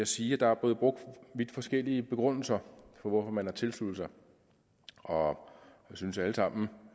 sige at der er blevet brugt vidt forskellige begrundelser for hvorfor man har tilsluttet sig og jeg synes at alle sammen